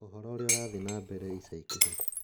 Ũhoro ũrĩa ũrathiĩ na mbere ica ikuhĩ